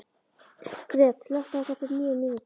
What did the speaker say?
Gret, slökktu á þessu eftir níu mínútur.